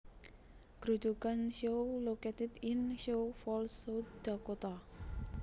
Grojogan Sioux located in Sioux Falls South Dakota